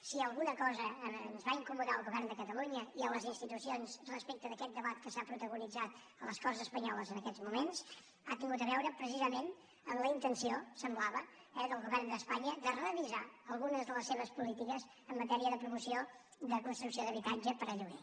si alguna cosa ens va incomodar al govern de catalunya i a les institucions respecte d’aquest debat que s’ha protagonitzat a les corts espanyoles en aquests moments ha tingut a veure precisament amb la intenció semblava eh del govern d’espanya de revisar algunes de les seves polítiques en matèria de promoció de construcció d’habitatge per a lloguer